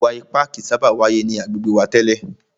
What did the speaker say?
Ìwà ipá kìí sábà wáyé ni agbègbè wa tẹ́lẹ̀.